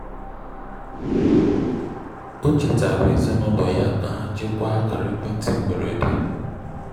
ọ chetara ezinulo ya ka ha chekwaa akara ekwenti mgberede.